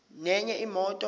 nenye imoto